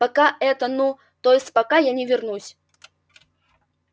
пока это ну то есть пока я не вернусь